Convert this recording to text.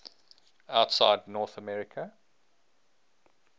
outside north america